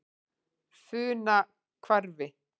Funahvarfi